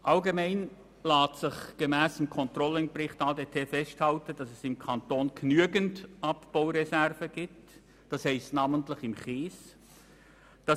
Allgemein lässt sich gemäss Controlling-Bericht festhalten, dass es im Kanton genügend Abbau-Reserven gibt, namentlich beim Kies.